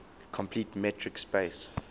complete metric space